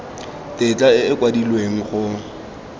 tetla e e kwadilweng go